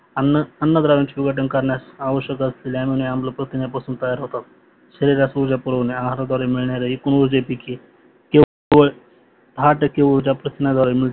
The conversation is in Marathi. अन्न अन्नद्रव्याचे विघटन करण्यात आवश्यक असलेले आम्ल आणी आम्ल प्रथिन्यापासून तयार होतात शरीरात ऊर्जा पुरवणे आहाराद्वारे मिळणाऱ्या एकूण उर्जे पैकी केवळ ऊर्जा प्रथिन्याद्वारे मिळते